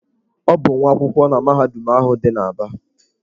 Ọ bụ nwa akwụkwọ na mahadum ahụ dị n'Aba.